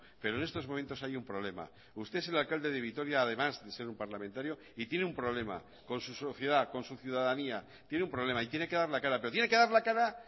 pero en estos momentos hay un problema usted es el alcalde de vitoria además de ser un parlamentario y tiene un problema con su sociedad con su ciudadanía tiene un problema y tiene que dar la cara pero tiene que dar la cara